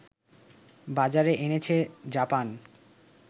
বাজারে এনেছে জাপান